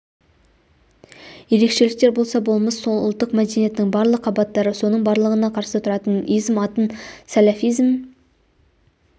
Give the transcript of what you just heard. ерекшеліктер болса болмыс сол ұлттық мәдениеттің барлық қабаттары соның барлығына қарсы тұратын изм атын сәләфизм